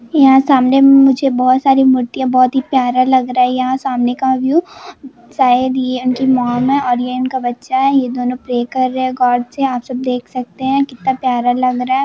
यहां सामने मुझे मूर्तियां बोहोत ही प्यारा लग रहा हैयहां सामने का व्यू शायद ये उनकी मोम है और ये उनका बच्चा है ये दोनों प्रे कर रहे है गॉड से आप सब देख सकते हैकितना प्यार लग रहा है।